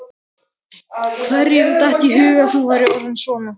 Hverjum datt í hug að þú værir orðinn svona